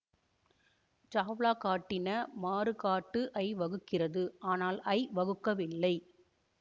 சாவ்லா காட்டின மாறுகாட்டு ஐ வகுக்கிறது ஆனால் ஐ வகுக்கவில்லை